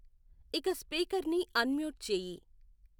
ఇక స్పీకర్ ని అన్మ్యూట్ చేయి